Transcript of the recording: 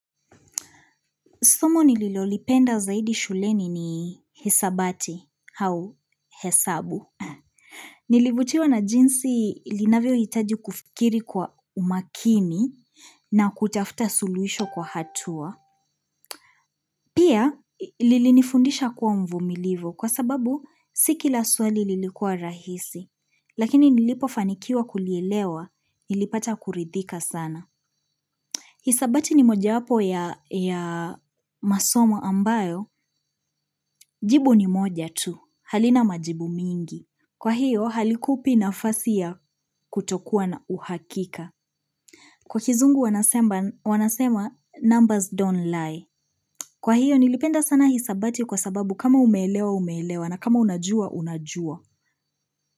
Somo nililolipenda zaidi shuleni ni hisabati au hesabu. Nilivutiwa na jinsi linavyo itaji kufikiri kwa umakini na kutafuta sululuhisho kwa hatua. Pia, lilini fundisha kuwa mvumilivu kwa sababu si kila swali lilikuwa rahisi. Lakini nilipofanikiwa kulielewa ilipata kuridhika sana. Hisabati ni moja yapo ya ya masomo ambayo, jibu ni moja tu, halina majibu mingi. Kwa hiyo halikupi nafasi ya kutokuwa na uhakika. Kwa kizungu wanasemba wanasema numbers don't lie. Kwa hiyo nilipenda sana hisabati kwa sababu kama umeelewa umeleewa na kama unajua unajua.